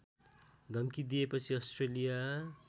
धम्की दिएपछि अस्ट्रेलिया